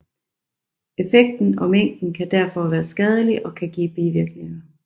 Effekten og mængden kan derfor være skadelig og kan give bivirkninger